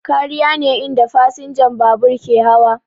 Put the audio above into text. Kariya ne inda fasinjan babur ke hawa